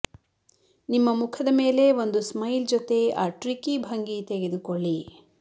ನಿಮ್ಮ ಮುಖದ ಮೇಲೆ ಒಂದು ಸ್ಮೈಲ್ ಜೊತೆ ಆ ಟ್ರಿಕಿ ಭಂಗಿ ತೆಗೆದುಕೊಳ್ಳಿ